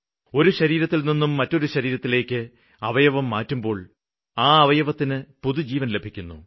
ഒരു ശരീരത്തില്നിന്നും മറ്റൊരു ശരീരത്തിലേയ്ക്ക് അവയവം മാറ്റുമ്പോള് ആ അവയവത്തിന് പുതുജീവന് ലഭിക്കുന്നു